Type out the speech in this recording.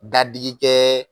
Dadigikɛ